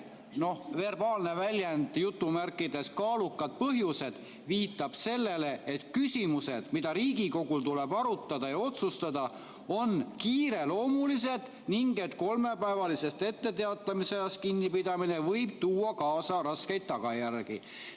" Verbaalne väljend "kaalukad põhjused" viitab sellele, et küsimused, mida Riigikogul tuleb arutada ja otsustada, on kiireloomulised ning et kolmepäevalisest etteteatamisajast kinnipidamine võib tuua kaasa raskeid tagajärgi.